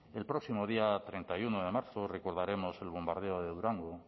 el próximo día treinta y uno de marzo recordaremos el bombardeo de durango